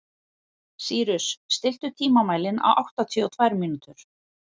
Sýrus, stilltu tímamælinn á áttatíu og tvær mínútur.